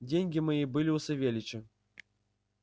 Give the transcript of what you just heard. деньги мои были у савельича